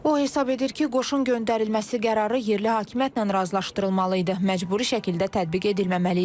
O hesab edir ki, qoşun göndərilməsi qərarı yerli hakimiyyətlə razılaşdırılmalı idi, məcburi şəkildə tətbiq edilməməli idi.